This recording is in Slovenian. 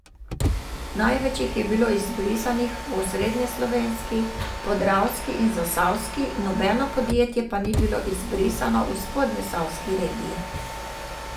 Največ jih je bilo izbrisanih v Osrednjeslovenski, Podravski in Zasavski, nobeno podjetje pa ni bilo izbrisano v Spodnjeposavski regiji.